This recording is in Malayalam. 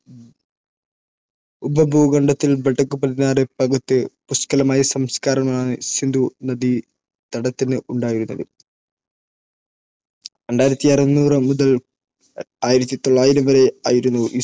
പുഷ്കലമായ സംസ്കാരമാണ് സിന്ധു നദീതടത്തിന് ഉണ്ടായിരുന്നത്. രണ്ടായിരത്തി അറുന്നൂറ് മുതൽ ആയിരത്തി തൊള്ളായിരം വരെ ആയിരുന്നു